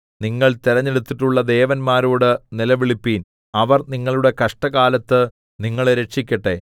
നിങ്ങൾ തിരഞ്ഞെടുത്തിട്ടുള്ള ദേവന്മാരോട് നിലവിളിപ്പിൻ അവർ നിങ്ങളുടെ കഷ്ടകാലത്ത് നിങ്ങളെ രക്ഷിക്കട്ടെ